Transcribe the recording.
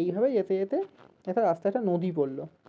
এইভাবেই যেতে যেতে একটা রাস্তায় একটা নদী পড়লো